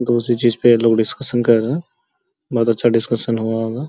दूसरी चीज पे ये लोग डिस्कशन कर रहे है हैं बहुत अच्छा डिस्कशन हुआ होगा।